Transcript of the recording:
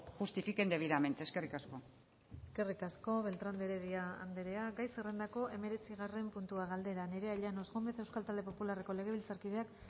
justifiquen debidamente eskerrik asko eskerrik asko beltrán de heredia andrea gai zerrendako hemeretzigarren puntua galdera nerea llanos gómez euskal talde popularreko legebiltzarkideak